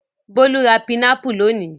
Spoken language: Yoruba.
Bólú ra pinápù lónìí.